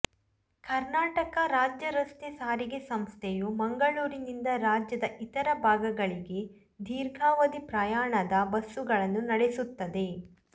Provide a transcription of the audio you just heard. ಕರ್ನಾಟಕ ರಾಜ್ಯ ರಸ್ತೆ ಸಾರಿಗೆ ಸಂಸ್ಥೆಯು ಮಂಗಳೂರಿನಿಂದ ರಾಜ್ಯದ ಇತರ ಭಾಗಗಳಿಗೆ ದೀರ್ಘಾವದಿ ಪ್ರಯಾಣದ ಬಸ್ಸುಗಳನ್ನು ನಡೆಸುತ್ತದೆ